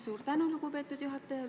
Suur tänu, lugupeetud juhataja!